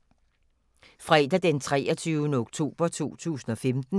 Fredag d. 23. oktober 2015